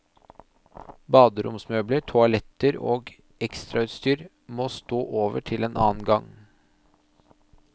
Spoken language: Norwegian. Baderomsmøbler, toaletter og ekstrautstyr må stå over til en annen gang.